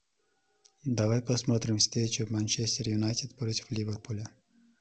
давай посмотрим встречу манчестер юнайтед против ливерпуля